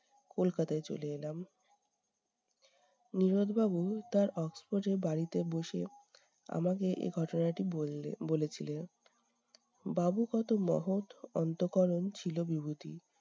কলকাতায় চলে এলাম। নীরদ বাবু তার oxford এর বাড়িতে বসে আমাকে এ ঘটনাটি বললে বলেছিলেন। বাবু কত মহৎ অন্তঃকরণ ছিল বিভূতি